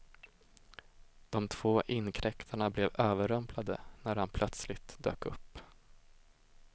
De två inkräktarna blev överrumplade när han plötsligt dök upp.